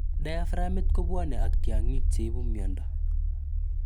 Diaframit kobwane ak tyong'iik cheibu miondo.